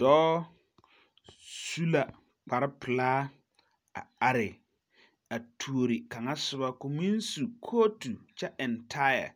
Dɔɔs u la kparre pilaa a are a tuori kaŋa soba koo meŋ are su kootu kyɛ eŋ taayɛ